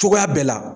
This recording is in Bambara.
Cogoya bɛɛ la